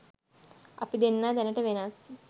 අපි දෙන්නා දැනට වෙනස්